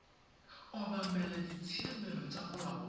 obamela ditshiamelo tsa molao wa